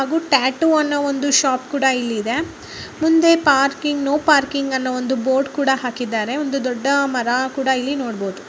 ಹಾಗೂ ಟ್ಯಾಟೂ ಅನ್ನು ಒಂದು ಶಾಪ್ ಕೂಡ ಇಲ್ಲಿ ಇದೆ ಮುಂದೆ ಪಾರ್ಕಿಂಗ್ ನೋ ಪಾರ್ಕಿಂಗ್ ಅನ್ನೋ ಒಂದು ಬೋರ್ಡ್ ಕೂಡ ಹಾಕಿದ್ದಾರೆ ಒಂದು ದೊಡ್ಡ ಮರ ಕೂಡ ಇಲ್ಲಿ ನೋಡ್ಬೋದು .